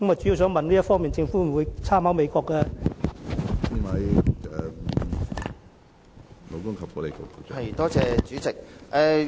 政府在這方面會否參考美國的做法？